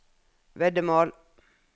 veddemål